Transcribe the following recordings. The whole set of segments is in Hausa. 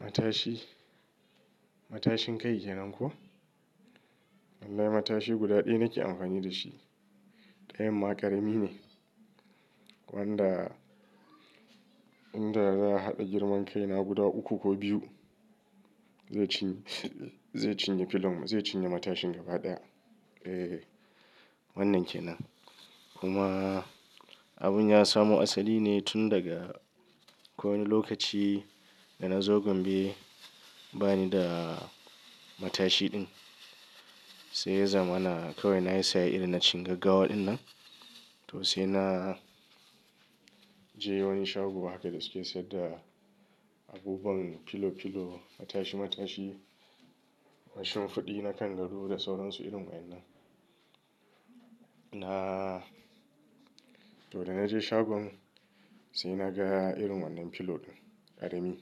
Matashi, matashin kai kenan ko? Lallai matashi guda ɗaya nake amfani da shi. Ɗayan ma ƙarami ne. Wanda inda za a haɗa girman kaina guda uku ko biyu. Zai ci, zai cinye filo, zai cinye matashin gaba ɗaya. Eh wannan kenan. Kuma abun ya samu asali ne tun daga akwai wani lokaci da na zo Gombe bani da matashi din. Sai ya zamana kawai na yi saya irin na cikin gaggawa dinnan. To sai na je wani shagon haka da suke sayar da abubuwan filo filo matashi matashi washu fuɗi nakan rura da sauransu irin waɗannan. Na to da na je shagon sai na ga irin wannan filo din ƙarami.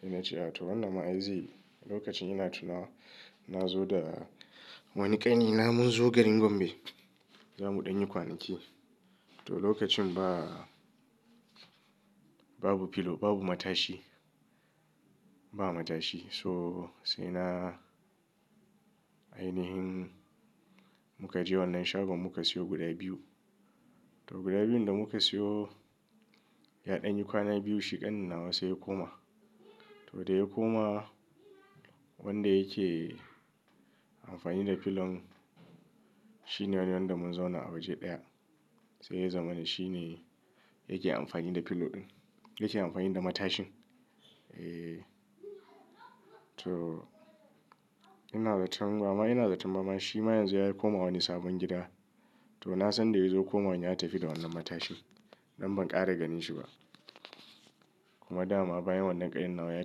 Sai na ce a to wannan ma ai zaiyi, lokacin ina tuna na zo da wani ƙani na mun zo garin Gombe. Zamu dan yin kwanaki. To lokacin ba babu filo babu matashi. Ba matashi so sai na ainihin muka je wannan shagon muka siyo guda biyu. To guda biyun da muka siyo ya ɗan yi kwana biyu shi ƙanin nawa sai ya koma. To da ya koma wanda yake amfani da filon shine wani wanda mun zauna a waje ɗaya. Sai ya zamana shine yake amfani da filo din. Yake amfani da matashin. Eh to ina zaton ba ma ina zaton ba ma shi ma yanzu yayi komawa wani sabon gida. To na san da ya zo komawa yatafi da wannan matashi. Dan ban ƙara ganin shi ba. Kuma dama bayan wannan ƙanin nawa ya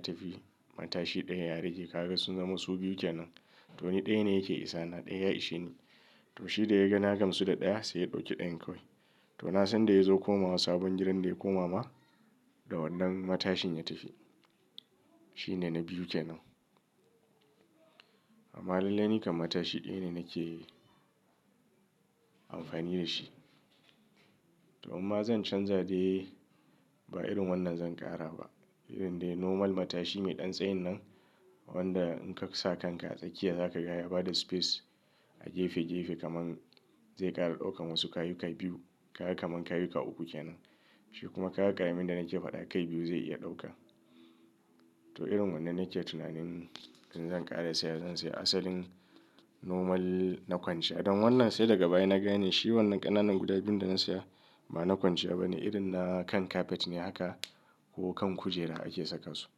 tafi matashi ɗaya ya rage. Kaga sun zama su biyu kenan. To ni ɗaya ne yake isa na ɗaya ya ishe ni. To shi da ya ga na gamsu da ɗaya sai ya ɗauki ɗayan kawai. To na san da ya zo komawa sabon gidan da ya koma ma da wannan matashin ya tafi. Shi ne na biyu kenan. Amma lallai ni kan matashi ɗaya ne nake amfani da shi. To amma zan canza dai ba irin wannan zan ƙara ba. Irin dai normal matashi mai ɗan tsayin nan. Wanda in ka sa kanka a tsakiya zakaga yabada space a gefe gefe kaman zai ƙara ɗauka wasu kayika biyu. Kaga kaman kayika uku kenan. Shi kuma kaya ƙaramin da nake faɗa kai biyu zai iya ɗauka. To irin wannan nake tunanin in zan ƙara saya zan saya asalin normal na kwanciya. Dan wannan sai daga baya na gane shi wannan ƙananan guda biyun da na saya ba na kwanciya ba ne. Irin na kan kafet ne haka ko kan kujera ake saka su.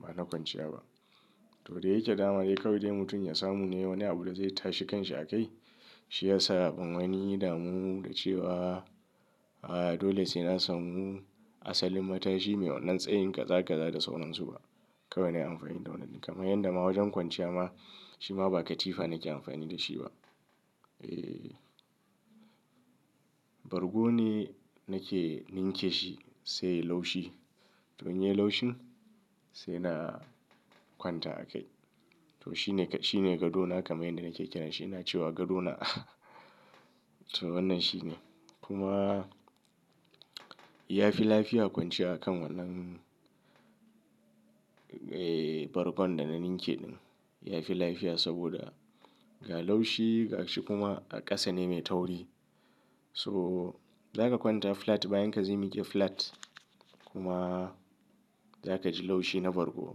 Ba na kwanciya ba. To da yake dama dai kawai dai mutum ya samu ne wani abu da zai tashi kan shi a kai. Shiyasa ban wani damu da cewa dole sai na samu asalin matashi mai wannan tsayin kaza kaza da sauransu ba. Kawai na yi amfani da wannan. Kaman yadda ma wajen kwanciya ma shi ma ba katifa nake amfani da shi ba. Eh. Bargu ne nake ninke shi sai laushi. To inyi laushin sai na kwanta a kai. To shi ne shi ne gadona kamar yadda nake kira shi. Ina cewa gadona. To wannan shi ne. Kuma ya fi lafiya kwanciya a kan wannan. Eh bargon da na ninke din. Ya fi lafiya saboda ga laushi ga shi kuma a ƙasa ne mai tauri. So zaka kwanta flat bayan ka zai miki flat. Kuma za ka ji laushi na bargo.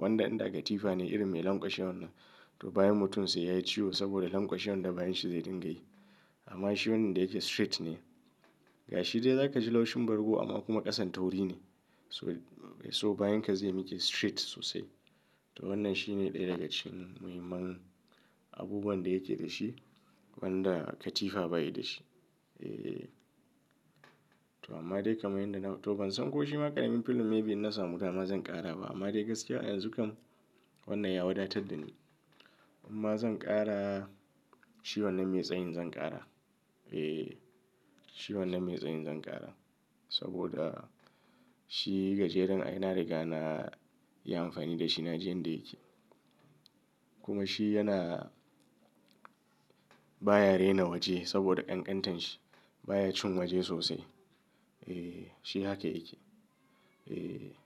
Wanda inda katifa ne irin mai lanƙwashe wannan. To bayan mutum sai yayi ciwo saboda lanƙwashe wanda bayan shi zai dinga yi. Amma shi wannan da yake straight ne. Ga shi dai za ka ji laushin bargo amma kuma ƙasan tauri ne. So bayanka zai miki straight sosai. To wannan shi ne ɗaya daga cikin muhimman abubuwan da yake da shi. Wanda katifa bayada shi. Eh. To amma dai kamar yadda na to ban san ko shi ma ƙaramin filon maybe in na samu dama zan ƙara ba. Amma dai gaskiya yanzu kam wannan ya wadatar da ni. Inma zan ƙara shi wannan mai tsayin zan ƙara. Eh shi wannan mai tsayin zan ƙara. Saboda shi gajeren ai na riga na yi amfani da shi na ji yanda yake. Kuma shi yana baya rena waje saboda ƙanƙantar shi baya cin waje sosai. Eh shi haka yake. Eh.